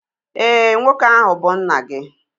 Éè, nwoke ahu bu nna gị